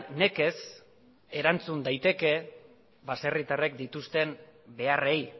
nekez erantzun daiteke baserritarrek dituzten beharrei